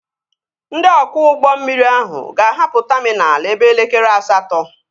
Ndị ọkwọ ụgbọ mmiri ahụ ga-ahapụ taminal ebe elekere asatọ